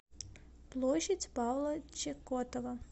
площадь павла чекотова